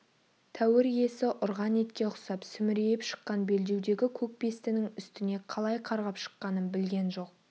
тәуір иесі ұрған итке ұқсап сүмірейіп шыққан белдеудегі көк бестінің үстіне қалай қарғып шыққанын білген жоқ